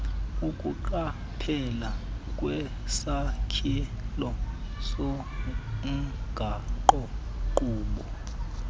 ukuqaphela kwisakhelo somgaqonkqubo